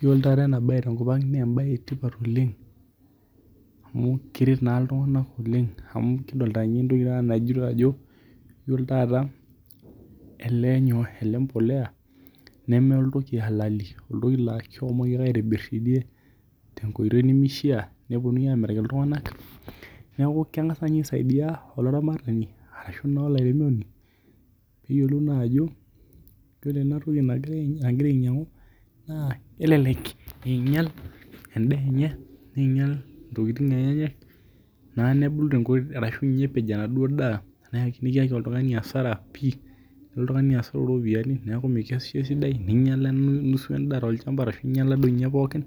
Yiolo taata ena bae tenkop ang naa ebae etipat oleng' amuu keret naa iltung'ana Oleng amu kidolita entoki najoiyo ajo yiolo taata ele nyoo? Ele polea nemelotu kii halali oltoki laa keshomomi ake aitibir tidie tenkoitie nemishaa nepuonunui amiraki iltung'anak neeku kengas naa ninye aisadia olaramatani arashu naa olairemoni pee eyiolou naa jao ore ena toki nagira ainyangu anaa elelek einyal edaa enye neinyal intokitin enyenak naa nebulu arashu ninye epej enaduo daa nikiyakai alduo tung'ani hasara pii nelo eladuo tungani asot iropiani neeku meyasisho aitobiraki ninyala nusu edaa tolchamba ashuu inyala doii ninte pookin.